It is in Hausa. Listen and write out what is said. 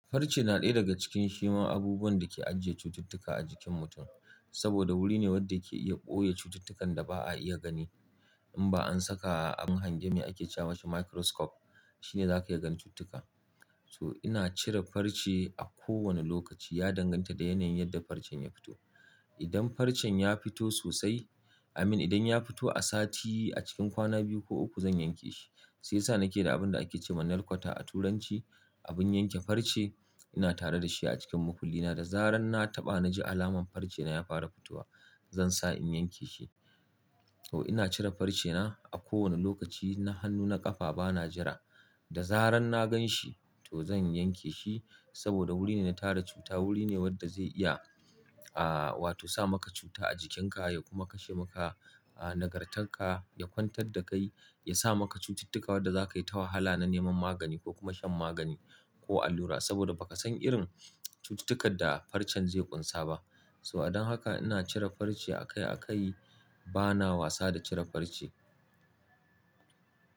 Farci na ɗaya daga cikin shiman abubuwan da ke ajiye cututtuka a jikin mutum. Saboda wuri ne wadda ke iya ɓoye cututtukan da ba a iya gani in ba an saka abin hanji me ake ce masa microscope shine za ka iya gan cututtuka. To ina cire farci a kowane lokaci. Ya danganta da yanayin yadda farcen ya fito. Idan farcen ya fito sosai, i mean idan ya fito a sati a cikin kwana biyu ko uku zan yanke shi. Sai sa nake da abun da ake ce ma nail cutter a turanci, abun yanke farci. Ina tare da shi a cikin makulli na. Da zaran na taɓa na ji alaman farcena ya fara fitowa zan sa in yanke shi. To ina cire farcena a kowane lokaci na hannu, na ƙafa bana jira. Da zaran na gan shi to zan yanke shi saboda wuri ne na tara cuta, wuri ne wadda zai iya, ah wato sa maka cuta a jikinka ya kuma kashe maka ah nagartanka, ya kwantar da kai, ya sa maka cututtuka wadda za ka yi ta wahala na neman magani ko kuma shan magani ko allura saboda ba ka san irin cututtukan da farcen zai ƙunsa ba. So a don haka ina cire farci akai akai bana wasa da cire farce.